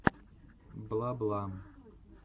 бла бла